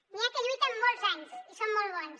n’hi ha que lluiten molts anys i són molt bones